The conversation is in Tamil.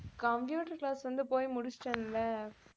computer class வந்து போய் முடிச்சுட்டேன்ல